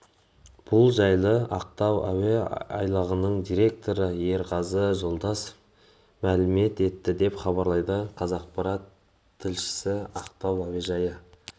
бұл жайлы ақтау әуе айлағының директоры ерғазы жолдасов мәлім етті деп хабарлайды қазақпарат тілшісі ақтау әуежайы